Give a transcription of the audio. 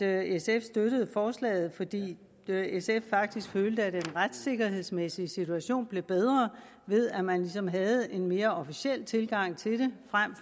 at sf støttede forslaget fordi de i sf faktisk følte at den retssikkerhedsmæssige situation blev bedre ved at man ligesom havde en mere officiel tilgang til det frem